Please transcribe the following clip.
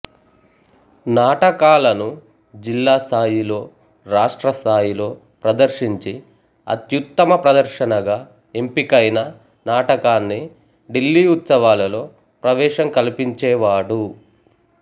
నాటకాలను జిల్లా స్థాయిలో రాష్ట్రస్థాయిలో ప్రదర్శించి అత్యుత్తమ ప్రదర్శనగా ఎంపికైన నాటకాన్ని ఢిల్లీ ఉత్సవాలలో ప్రవేశం కల్పించేవాడు